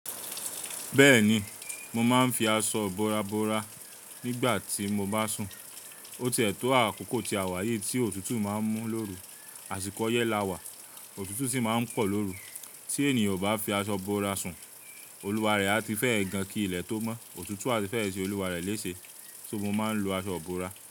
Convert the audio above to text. Bẹ́ẹ̀ni, mo máa ń fi aṣọ ibora bora nígbà tí mo bá sùn. Ó ti e to àkókò tí a wà yìí tí òtútù má ń mú lóru, àsìkò ọyẹ́ lawà, òtútù sì má ń pọ̀ lóru. Tí ènìyàn obá fi aṣọ bora sùn, olúwa rẹ̀ á ti fẹ́ ẹ gan ki ilẹ̀ tó mọ́, òtútù a ti fẹ́ ṣe olúwa rẹ léṣe. Só mo máa ń lo aṣọ ibora.